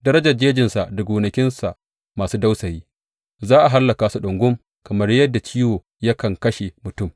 Darajar jejinsa da gonakinsa masu dausayi za a hallaka su ɗungum, kamar yadda ciwo yakan kashe mutum.